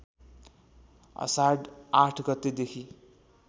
आषाढ ८ गतेदेखि